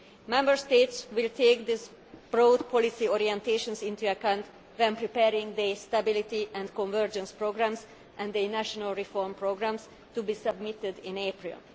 Member States will take these broad policy orientations into account when preparing their stability and convergence programmes and the national reform programmes to be submitted in April.